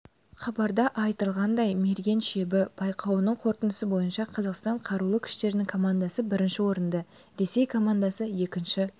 хабарда айтылғандай мерген шебі байқауының қорытындысы бойынша қазақстан қарулы күштерінің командасы бірінші орынды ресей командасы екінші